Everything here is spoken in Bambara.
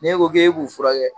N'e ko k'e b'u furakɛ.